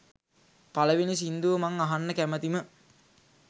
පළවෙනි සින්දුව මං අහන්න කැමතිම